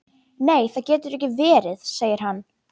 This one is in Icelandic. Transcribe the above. Nei það getur ekki verið, segir hann.